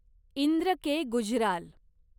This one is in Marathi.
इंद्र के. गुजराल